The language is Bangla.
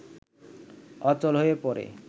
অচল হয়ে পড়ে